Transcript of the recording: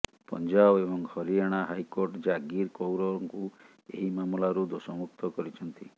ପଞ୍ଜାବ ଏବଂ ହରିୟାଣା ହାଇକୋର୍ଟ ଜାଗିର କୌରଙ୍କୁ ଏହି ମାମଲାରୁ ଦୋଷମୁକ୍ତ କରିଛନ୍ତି